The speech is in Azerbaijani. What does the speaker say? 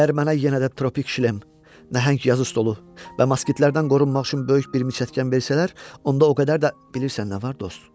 Əgər mənə yenə də tropik şlem, nəhəng yazı stolu və moskitlərdən qorunmaq üçün böyük bir miçətkan versələr, onda o qədər də bilirsən nə var dost?